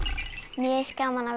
mér finnst gaman að